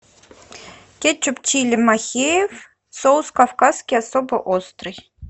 кетчуп чили махеев соус кавказский особо острый